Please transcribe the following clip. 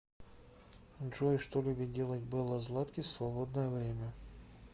джой что любит делать белла златкис в свободное время